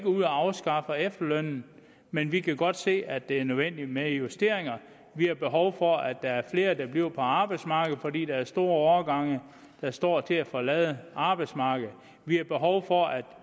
ud og afskaffer efterlønnen men vi kan godt se at det er nødvendigt med justeringer vi har behov for at der er flere der bliver på arbejdsmarkedet fordi der er store årgange der står til at forlade arbejdsmarkedet vi har behov for at